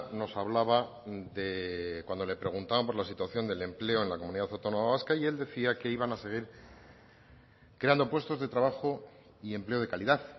nos hablaba de cuando le preguntaban por la situación del empleo en la comunidad autónoma vasca y él decía que iban a seguir creando puestos de trabajo y empleo de calidad